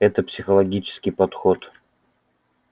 это психологический подход